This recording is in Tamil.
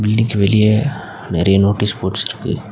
வீடுக்கு வெளிய நெறைய நோட்டீஸ் போர்ட்ஸ் இருக்கு.